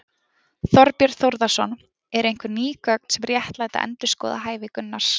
Þorbjörn Þórðarson: Eru einhver ný gögn sem réttlæta endurskoðað hæfi Gunnars?